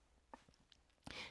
DR1